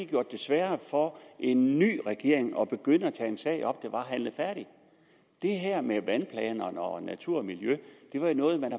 gjort det sværere for en ny regering at begynde at tage en sag op der var handlet færdigt det her med vandplanerne og natur og miljø var jo noget man